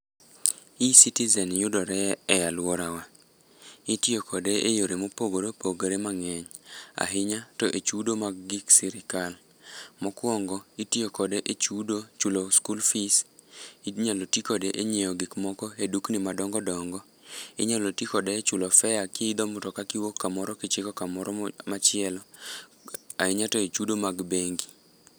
Ecitizen yudore e aluorawa. Itiyo kode eyore mopogore opogore mang'eny. Ahinya to e chudo mag gik sirikal. Mokuongo itiyo kode e chudo chulo skul fees, inyalo tii kode e nyiewo gik moko e dukni madongo dongo, inyalo ti kode e chulo fare ki idho mtoka kiwuok kamoro kichiko kamoro machielo, ahinya to e chudo mag bengi.